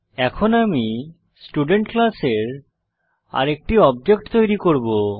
এখন আমি স্টুডেন্ট ক্লাসের আরেকটি অবজেক্ট তৈরী করব